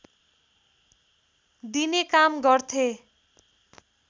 दिने काम गर्थे